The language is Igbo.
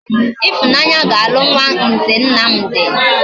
Ifunanya ga alu nwa nze Nnamdi